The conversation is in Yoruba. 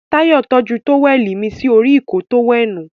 Táyọ̀ tọ́jú tówẹ̀lì mí sí orí Ìkọ́ọ tówẹ́ẹ̀nù